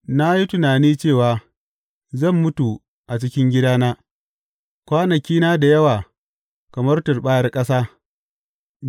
Na yi tunani cewa, Zan mutu a cikin gidana, kwanakina da yawa kamar turɓayar ƙasa.